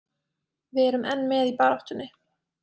Við erum enn með í baráttunni.